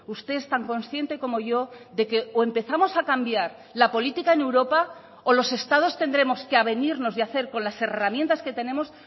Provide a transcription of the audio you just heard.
usted es tan consciente como yo de que o empezamos a cambiar la política en europa o los estados tendremos que avenirnos y hacer con las herramientas que tenemos